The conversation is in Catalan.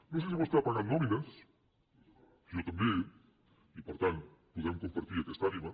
no sé si vostè ha pagat nòmines jo també i per tant podem compartir aquesta ànima